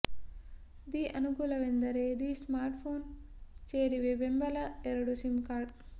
the ಅನುಕೂಲವೆಂದರೆ the smartphone ಸೇರಿವೆ ಬೆಂಬಲ ಎರಡು ಸಿಮ್ ಕಾರ್ಡ್